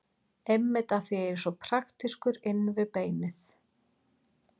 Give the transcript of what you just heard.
Einmitt af því að ég er svo praktískur inn við beinið.